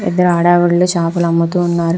పెద్ధ ఆడ ఆవిడలు చేపలు అమ్ముతూ ఉన్నారు.